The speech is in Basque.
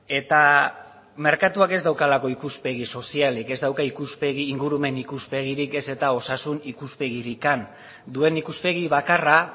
eta merkatuak ez daukalako ikuspegi sozialik ez dauka ikuspegi ingurumen ikuspegirik ez eta osasun ikuspegirik duen ikuspegi bakarra